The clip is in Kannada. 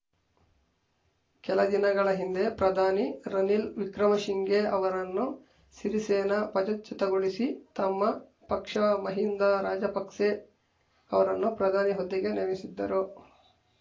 ಕೆಲ ದಿನಗಳ ಹಿಂದೆ ಪ್ರಧಾನಿ ರನಿಲ್‌ ವಿಕ್ರಮಸಿಂಘೆ ಅವರನ್ನು ಸಿರಿಸೇನಾ ಪದಚ್ಯುತಗೊಳಿಸಿ ತಮ್ಮ ಪಕ್ಷ ಮಹಿಂದ ರಾಜಪಕ್ಸೆ ಅವರನ್ನು ಪ್ರಧಾನಿ ಹುದ್ದೆಗೆ ನೇಮಿಸಿದ್ದರು